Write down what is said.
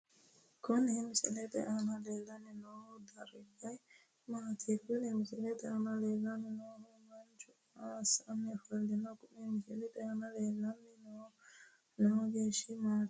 Kuni misilete aana leellanni noohu dargu mamaati? Kuni misilete aana leellanni noohu manchu maa assanni ofo'lino? Kuni misilete aana leellanni noohuegenshiishu maati?